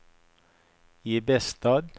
Ibestad